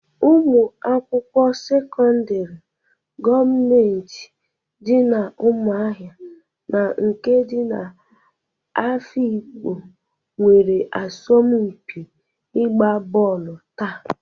Ụmụ akwụkwọ sekọndrị gọmenti dị n'Ụmụahịa na nke dị n'Ehụgbọ nwere asọmpi ịgba bọọlụ taa.